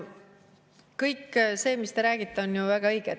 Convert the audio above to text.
Kõik, mis te räägite, on väga õige.